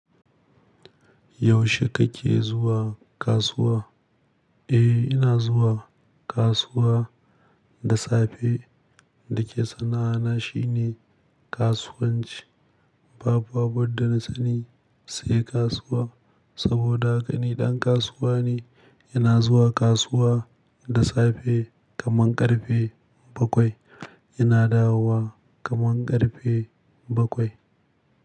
Yaushe kake zuwa kasuwa? Eh, ina zuwa kasuwa da safe. Dake sana'ana shine kasuwanci. Babu abunda na sani sai kasuwa saboda haka ni ɗan kasuwa ne. Ina zuwa kasuwa da safe kaman ƙarfe bakwai. Ina dawowa kaman ƙarfe bakwai.